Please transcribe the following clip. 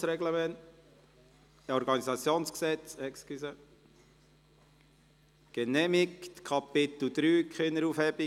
Sie haben diesen Antrag so ins Gesetz geschrieben, mit 97 Ja- gegen 45 Nein-Stimmen bei 1 Enthaltung.